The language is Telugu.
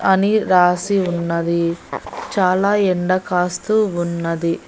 అని రాసి ఉన్నది చాలా ఎండకాస్తూ ఉన్నది.